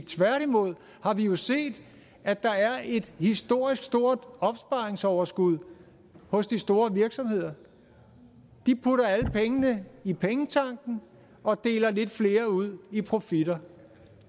tværtimod har vi jo set at der er et historisk stort opsparingsoverskud hos de store virksomheder de putter alle pengene i pengetanken og deler lidt flere ud i profitter